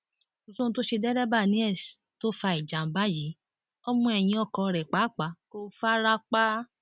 kò sóhun tó ṣe dẹrẹbà niels tó fa ìjàmbá yìí ọmọ ẹyìn ọkọ rẹ pàápàá kò fara pa